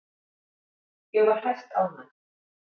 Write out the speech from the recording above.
Ég var hæstánægð.